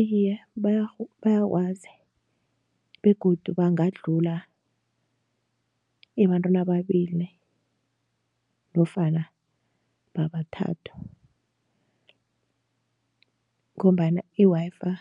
Iye bayakwazi begodu bangadlula ebantwini ababili nofana babathathu ngombana i-Wi-Fi